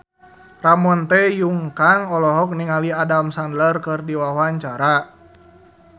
Ramon T. Yungka olohok ningali Adam Sandler keur diwawancara